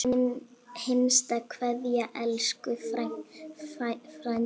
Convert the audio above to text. HINSTA KVEÐJA Elsku frændi.